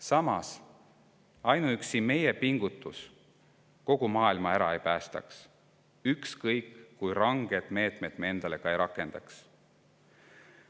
Samas, ainuüksi meie pingutus kogu maailma ära ei päästaks, ükskõik kui rangeid meetmeid me ka ei rakendaks.